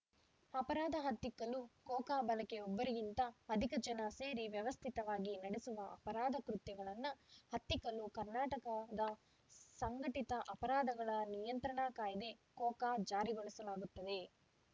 ಅಪರಾಧ ಹತ್ತಿಕ್ಕಲು ಕೋಕಾ ಬಳಕೆ ಒಬ್ಬರಿಗಿಂತ ಅಧಿಕ ಜನ ಸೇರಿ ವ್ಯವಸ್ಥಿತವಾಗಿ ನಡೆಸುವ ಅಪರಾಧ ಕೃತ್ಯಗಳನ್ನು ಹತ್ತಿಕ್ಕಲು ಕರ್ನಾಟಕದ ಸಂಘಟಿತ ಅಪರಾಧಗಳ ನಿಯಂತ್ರಣ ಕಾಯ್ದೆ ಕೋಕಾ ಜಾರಿಗೊಳಿಸಲಾಗುತ್ತದೆ